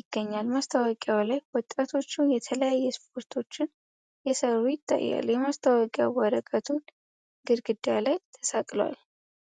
ይገኛል ማስታወቂያው ላይ ወጣቶች የተለያዩ ስፖርቶችን የሰሩ ይታያሉ የማስታወቂያ ወረቀቱ ግርግዳ ላይ ተሳቅሏል ።